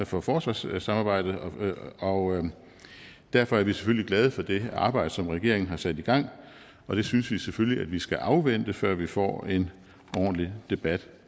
for for forsvarssamarbejdet og derfor er vi selvfølgelig glade for det arbejde som regeringen har sat i gang og det synes vi selvfølgelig at vi skal afvente før vi får en ordentlig debat